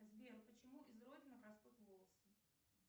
сбер почему из родинок растут волосы